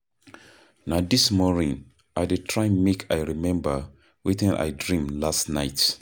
Na dis morning I dey try make I remember wetin I dream last night.